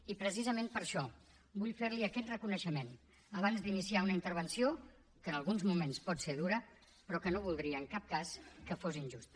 i precisament per això vull fer li aquest reconeixement abans d’iniciar una intervenció que en alguns moments pot ser dura però que no voldria en cap cas que fos injusta